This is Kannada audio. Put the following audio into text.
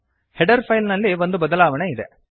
ಹೆಡರ್ ಫೈಲ್ ನಲ್ಲಿ ಒಂದು ಬದಲಾವಣೆ ಇದೆ